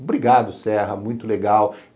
Obrigado, Serra, muito legal.